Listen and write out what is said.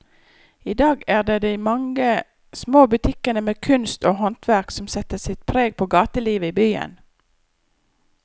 I dag er det de mange små butikkene med kunst og håndverk som setter sitt preg på gatelivet i byen.